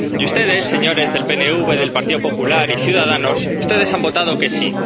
Y ustedes, señores del PNV, del Partido Popular y de Ciudadanos, ustedes han votado que sí.